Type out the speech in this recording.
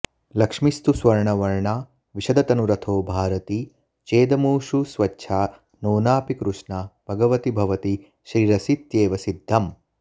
लक्ष्मीस्तु स्वर्णवर्णा विशदतनुरथो भारती चेदमूषु स्वच्छा नोनापि कृष्णा भगवति भवती श्रीरसीत्येव सिद्धम्